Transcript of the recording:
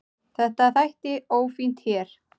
Þetta þætti ófínt hér.